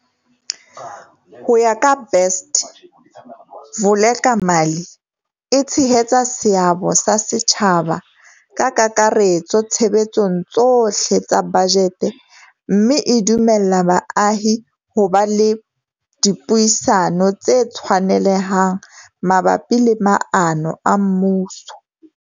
Ho ya ka Best, Vulekamali e tshehetsa seabo sa setjhaba ka kakaretso tshebetsong tsohle tsa bajete mme e dumella baahi ho ba le dipuisano tse tshwanelehang mabapi le maano a mmuso.